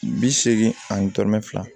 Bi seegin ani tɔɔrɔ fila